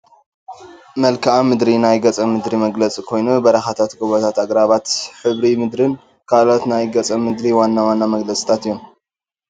መልክአ ምድሪ ናይ ገፀ ምድሪ መግለፂ ኮይኑ በረኻታት፣ ጐቦታት፣ ኣግራባት፣ ሕብሪ ምድርን ካልኦት ናይቲ ገፀ ምድሪ ዋና ዋና መግለፂታት እዮም፡፡